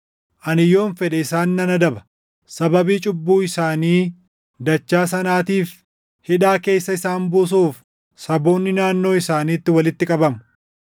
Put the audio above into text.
Ani yoon fedhe isaan nan adaba; sababii cubbuu isaanii dachaa sanaatiif hidhaa keessa isaan buusuuf // saboonni naannoo isaaniitti walitti qabamu.